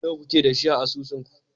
Nawa kuke da shi a asusunku?